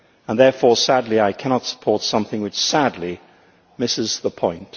Therefore, I cannot support something which, sadly, misses the point.